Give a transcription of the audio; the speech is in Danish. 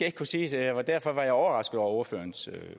ikke kunne sige sige og derfor var jeg overrasket over ordførerens